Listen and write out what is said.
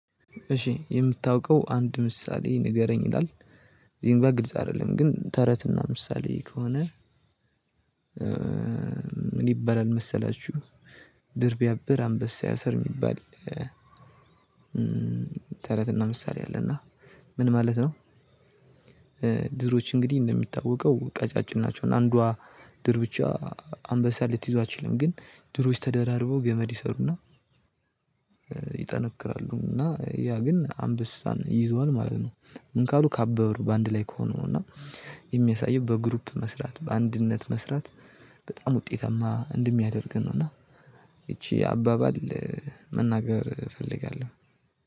እሺ የምታውቀው አንድ ምሳሌ ንገረኝ ይላል። ዚምባ ግልጽ አይደለም ግን ተረትና ምሳሌ ከሆነ። ምን ይበላል መሰላችሁ? ድር ቢያብር አንበሳ ያሰር የሚባል። ተረትና ምሳሌ አለና ምን ማለት ነው? ድሮችን እንግዲህ እንደሚታወቀው ቀጫጭን ናቸው። አንዷ ድር ብቻ አንበሳ ልትይዟቸው አትችልም። ግን ድሮች ተደራርቦ ገመድ ይሰሩና። ይጠነክራሉ። እና ያ ግን አንበሳን ይዘዋል ማለት ነው። ምን ካሉ ካበሩ በአንድ ላይ ከሆኑ እና የሚያሳየው በግሩፕ መስራት በአንድነት መስራት። በጣም ውጤታማ እንደሚያደርገን ነው። እና ይቺ አባባል መናገር እፈልጋለሁ።